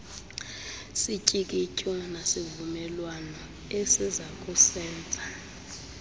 sityikityo nasivumelwano esizakusenza